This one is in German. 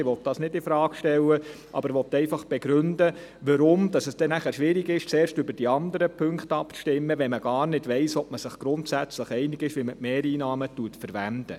Ich will das nicht infrage stellen, aber ich will einfach begründen, warum es dann schwierig ist, zuerst über die anderen Punkte abzustimmen, wenn man gar nicht weiss, ob man sich grundsätzlich einig ist, wie man die Mehreinnahmen verwendet.